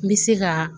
N bɛ se ka